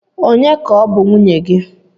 Ònye ka ọ bụ nwunye gị?